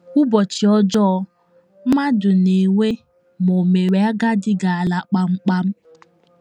‘ Ụbọchị ọjọọ ’ mmadụ na - enwe ma o mewe agadi ga - ala kpamkpam.